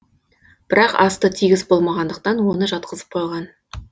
бірақ асты тегіс болмағандықтан оны жатқызып қойған